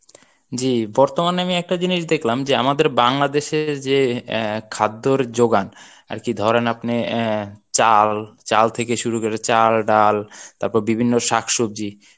জী বর্তমানে আমি একটা জিনিস দেখলাম যে আমাদের বাংলাদেশের যে আহ খাদ্যর যোগান আরকি ধরেন আপনে অ্যা চাল চাল থেকে শুরু করে চাল ডাল তারপরে বিভিন্ন শাকসব্জি